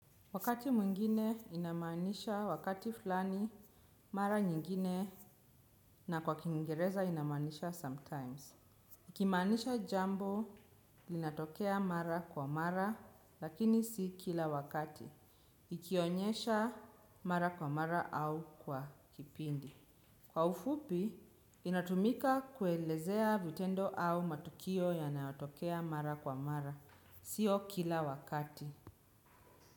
Wakati mwingine inamaanisha wakati fulani, mara nyingine na kwa kiingereza inamaanisha sometimes. Ikimaanisha jambo, linatokea mara kwa mara, lakini si kila wakati. Ikionyesha mara kwa mara au kwa kipindi. Kwa ufupi, inatumika kuelezea vitendo au matukio yanayotokea mara kwa mara, siyo kila wakati.